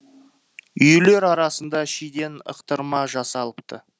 үйлер арасында шиден ықтырма жасалыпты